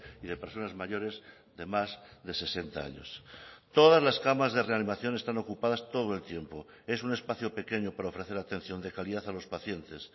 y de personas mayores de más de sesenta años todas las camas de reanimación están ocupadas todo el tiempo es un espacio pequeño para ofrecer atención de calidad a los pacientes